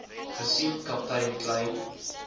gesien kaptein kleyn